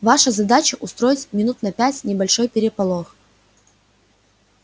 ваша задача устроить минут на пять небольшой переполох